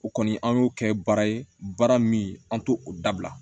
O kɔni an y'o kɛ baara ye baara min an t'o o dabila